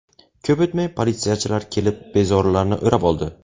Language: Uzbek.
Ko‘p o‘tmay politsiyachilar kelib, bezorilarni o‘rab oldi.